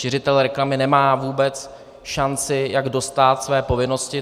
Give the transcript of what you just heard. Šiřitel reklamy nemá vůbec šanci, jak dostát své povinnosti.